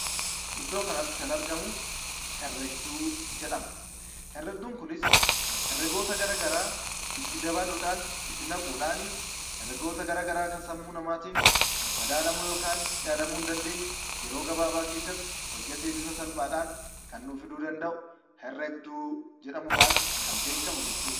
Iddoo kanatti kana argamu herregduu jedhama. Herregduun kunis herregoota garaagaraa itti dabaluudhaan, itti naquudhaan herregoota garaagaraa kan sammuu namaatiin madaalamuu yookiin yaadamuu hin dandeenye yeroo gabaabaa keessatti bifa salphaadhaan kan nuuf fiduu danda'u herregduu jedhamuun kan beekamu jechuudha.